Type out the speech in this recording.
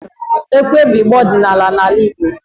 Ekwe bụ igba ọdịnala n'ala Igbo